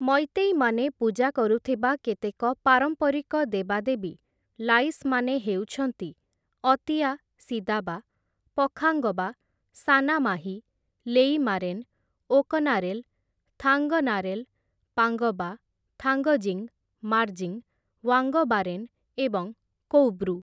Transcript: ମୈତୈ ମାନେ ପୂଜା କରୁଥିବା କେତେକ ପାରମ୍ପରିକ ଦେବା ଦେବୀ, ଲାଇସ୍ ମାନେ ହେଉଛନ୍ତି, ଅତିୟା ସିଦାବା, ପଖାଙ୍ଗବା, ସାନାମାହୀ, ଲେଇମାରେନ୍, ଓକନାରେଲ, ଥାଙ୍ଗନାରେଲ, ପାଙ୍ଗବା, ଥାଙ୍ଗଜିଂ, ମାର୍ଜିଂ, ୱାଙ୍ଗବାରେନ ଏବଂ କୌବ୍ରୁ ।